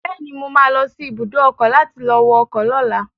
Bẹ́ẹ̀ni, mo ma lọ sí ibùdó ọkọ̀ láti lọ wọ ọkọ̀ lọ́la